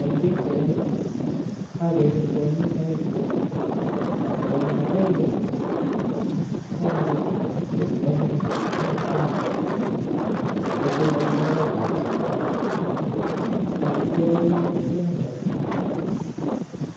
Eng pichaini ageere kwanyik aeng, kwanda agenge kokaru inendet eng kitanda ako tindoi ngoroikab sipitali, toku kole imiani inendet.